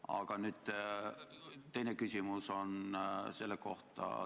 Aga minu teine küsimus on selle kohta.